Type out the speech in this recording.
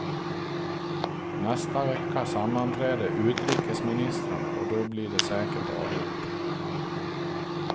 Nästa vecka sammanträder utrikesministrarna och då blir det säkert avgjort.